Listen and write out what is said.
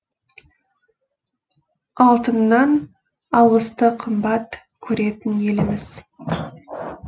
алтыннан алғысты қымбат көретін еліміз